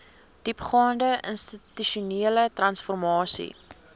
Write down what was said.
diepgaande institusionele transformasie